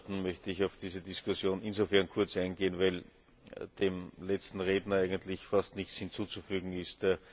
Wenn Sie gestatten, möchte ich auf diese Diskussion insofern kurz eingehen, weil dem letzten Redner eigentlich fast nichts hinzuzufügen ist.